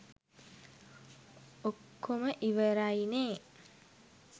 ඔක්කොම ඉවරයිනේ.